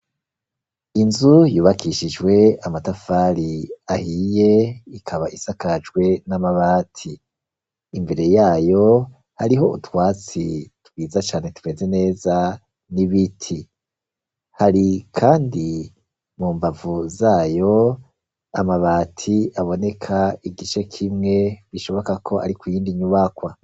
Inzu yubakishijwe amatafari ahiye ikaba isakajwe n'amabati, imbere yayo hariho utwatsi twiza cane tumeze neza n'ibiti, hari kandi mu mbavu zayo amabati aboneka igice kimwe bishoboka ko ari kuyindi nyubakwa.